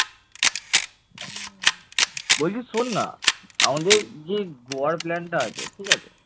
বলছি শোন না আমাদের যে গোয়ার প্লান টা আছে ঠিক আছে